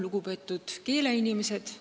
Lugupeetud keeleinimesed!